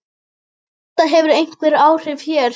Þetta hefur einhver áhrif hér.